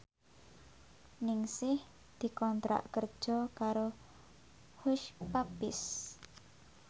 Ningsih dikontrak kerja karo Hush Puppies